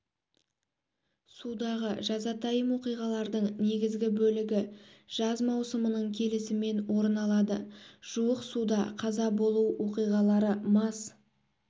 судағы жазатайы оқиғалардың негізгі бөлігі жаз маусымының келісімен орын алады жуық суда қаза болу оқиғалары мас